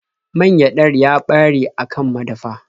Man gyaɗar ya ɓare a kan madafa.